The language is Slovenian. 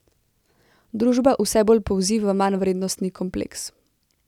Družba vse bolj polzi v manjvrednostni kompleks.